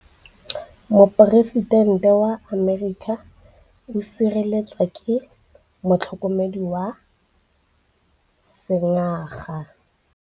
Poresitêntê wa Amerika o sireletswa ke motlhokomedi wa sengaga.